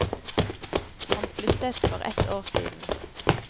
Han flyttet for ett år siden.